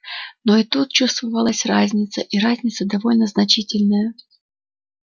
но и тут чувствовалась разница и разница довольно значительная